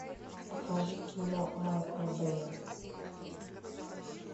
покажи кино майкла бэя